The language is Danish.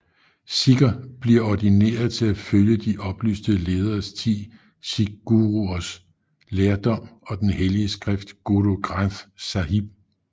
Sikher bliver ordineret til at følge de oplyste lederes ti sikhguruers lærdom og den hellige skrift Gurū Granth Sāhib